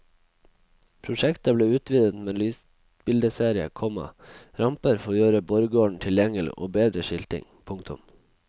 Prosjektet ble utvidet med lysbildeserie, komma ramper for å gjøre borggården tilgjengelig og bedre skilting. punktum